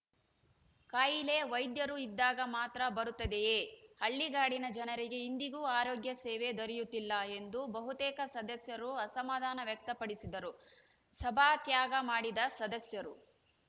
ಕಾಯಿಲೆ ವೈದ್ಯರು ಇದ್ದಾಗ ಮಾತ್ರ ಬರುತ್ತದೆಯೇ ಹಳ್ಳಿಗಾಡಿನ ಜನರಿಗೆ ಇಂದಿಗೂ ಆರೋಗ್ಯ ಸೇವೆ ದೊರೆಯುತ್ತಿಲ್ಲ ಎಂದು ಬಹುತೇಕ ಸದಸ್ಯರು ಅಸಮಾಧಾನ ವ್ಯಕ್ತ ಪಡಿಸಿದರು ಸಭಾತ್ಯಾಗ ಮಾಡಿದ ಸದಸ್ಯರು